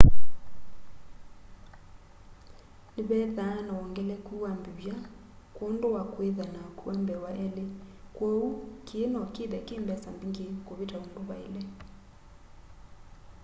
nĩvethaa na wongelekũ wa mbĩvya kwondũ wa kwĩtha na akũwa mbee wa elĩ kwooũ kĩĩ nokĩthe kĩmbesa mbĩngĩ kũvita ũndũ vaĩle